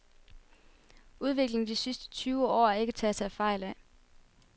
Udviklingen de sidste tyve år er ikke til at tage fejl af.